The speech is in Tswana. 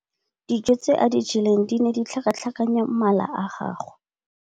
Dijô tse a di jeleng di ne di tlhakatlhakanya mala a gagwe.